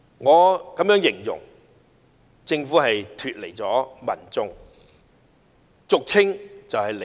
我會這樣形容：政府脫離了民眾，即俗稱"離地"。